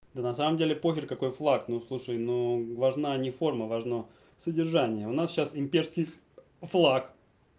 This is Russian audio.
да на самом деле похер какой флаг ну слушай ну важна не форма важно содержание у нас сейчас имперский флаг